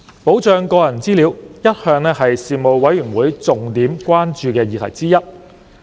保障個人資料一向是事務委員會重點關注的議題之一。